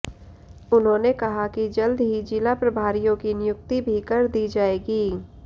उन्होंने कहा कि जल्द ही जिला प्रभारियों की नियुक्ति भी कर दी जाएगी